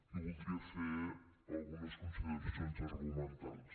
i voldria fer algunes consideracions argumentals